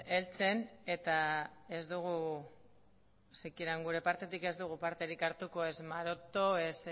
heltzen eta ez gure partetik ez dugu parterik hartuko ez maroto ez